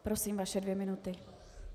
Prosím, vaše dvě minuty.